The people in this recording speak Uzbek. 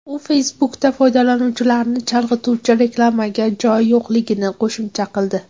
U Facebook’da foydalanuvchilarni chalg‘ituvchi reklamaga joy yo‘qligini qo‘shimcha qildi.